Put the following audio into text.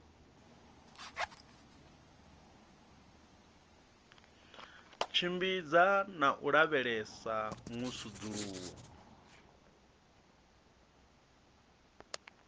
tshimbidza na u lavhelesa musudzuluwo